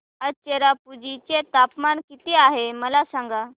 आज चेरापुंजी चे तापमान किती आहे मला सांगा